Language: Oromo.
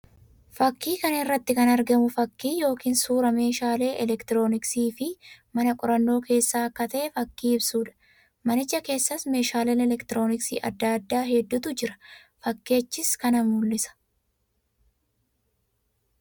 Fakkii kana irratti kan argamu fakkii yookiin suuraa meeshaalee elektirooniksii fi mana qorannaa keessa akka ta'e fakkii ibsuu dha. Manicha keessas meeshaalee elektirooniksii addaa addaa hedduutu jira. Fakkichis kana mul'isa.